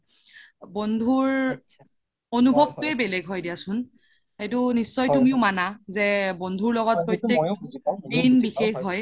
বন্ধুৰ অনোভবতোৱে বেলেগ হয় দিয়াচোন সেইটো নিশ্চয় তুমিও মানা যে বন্ধু লগ্ত